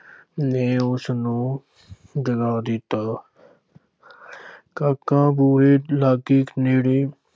ਨੇ ਉਸ ਨੂੰ ਜਗਾ ਦਿੱਤਾ ਕਾਕਾ ਬੂਹੇ ਲਾਗੇ ਨੇੜੇ